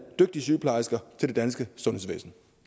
dygtige sygeplejersker til det danske sundhedsvæsen